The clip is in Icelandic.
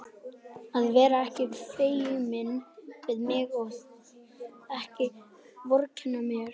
Að vera ekki feiminn við mig og ekki vorkenna mér!